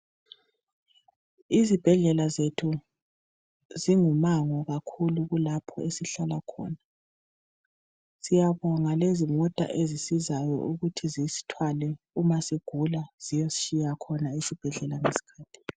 Izibhedlela zethu zingumango kakhulu kulapho esihlala khona. Siyabonga lezimota ezisizayo ukuthi zisithwale umasigula ziyesitshiya khona esibhedlela ngeskhathi.